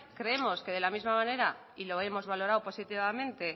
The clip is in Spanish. creemos que de la misma manera y lo hemos valorado positivamente